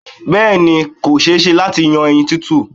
Bẹ́ẹ̀ ni, kò ṣe-é-ṣe láti yan ẹyin tútù.